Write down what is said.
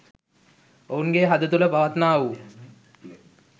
ඔවුන්ගේ හද තුළ පවතින්නා වූ